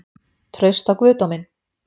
Traust á guðdóminn?